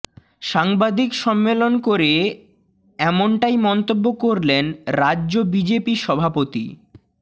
সাংবাদিক সম্মেলন করে এমনটাই মন্তব্য করলেন রাজ্য বিজেপি সভাপতি